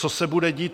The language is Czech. Co se bude dít?